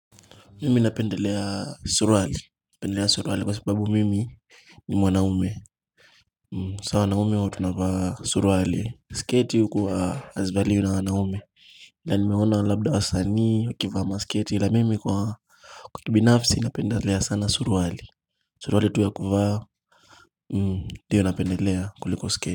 Mimi napendelea surwali, napendelea surwali kwa sababu mimi ni mwanaume. Sa wanaume huwa tunavaa suruwali. Sketi huku hazivaliwi na wanaume. Na nimeona labda wasanii wakivaa masketi ila mimi kwa mtu binafsi napendelea sana suruwali. Suruwali tu ya kuvaa, ndiyo napendelea kuliko sketi.